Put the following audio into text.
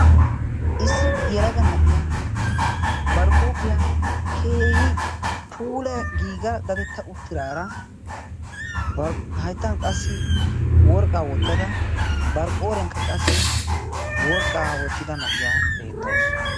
issi yelaga na'iya bar huuphiyaa keehi puula giiga dadetta uttiraara hayttan qassi worqqaa woottada barqqooriyaakka qassi worqqaa woottida na'iyaa beettawusu.